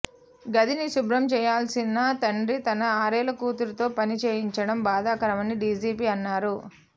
గదిని శుభ్రం చేయాల్సిన తండ్రి తన ఆరేళ్ల కూతురుతో పని చేయించడం బాధాకరమని డీజీపీ అన్నారు